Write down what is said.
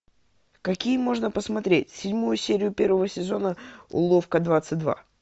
какие можно посмотреть седьмую серию первого сезона уловка двадцать два